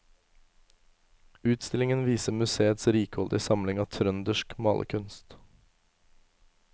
Utstillingen viser museets rikholdige samling av trøndersk malerkunst.